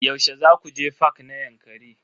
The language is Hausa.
Yaushe zaku je fak na Yankari?